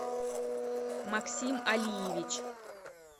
максим алиевич